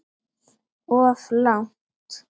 Of langt.